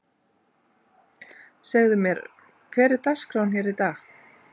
Segðu mér, hver er dagskráin hér í dag?